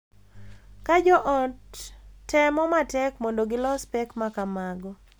Ka jo ot temo matek mondo gilos pek ma kamago.